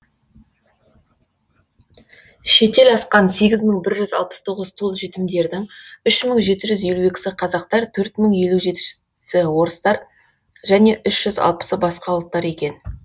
шетел асқан сегіз мың бір жүз алпыс тоғыз тұл жетімдердің үш мың жеті жүз елу екісі қазақтар төрт мың елу жетісі орыстар және үш жүз алпысы басқа ұлттар екен